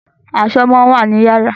Aṣọ máa ń wà ni yàrá